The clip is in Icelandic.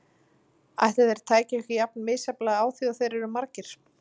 Ætli þeir tækju ekki jafn misjafnlega á því og þeir eru margir.